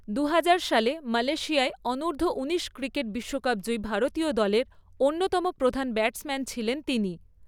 দু হাজার সালে সালে মালয়েশিয়ায় অনূর্ধ্ব উনিশ ক্রিকেট বিশ্বকাপ জয়ী ভারতীয় দলের অন্যতম প্রধান ব্যাটসম্যান ছিলেন তিনি।